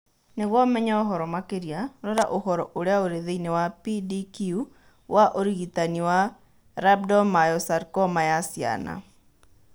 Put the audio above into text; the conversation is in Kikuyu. Nĩguo ũmenye ũhoro makĩria, rora ũhoro ũrĩa ũrĩ thĩinĩ wa PDQ wa ũrigitani wa rhabdomyosarcoma ya ciana.